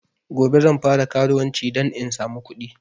Gobe zan fara karuwanci dan in samu kuɗi